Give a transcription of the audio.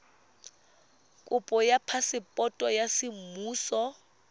kopo ya phaseporoto ya semmuso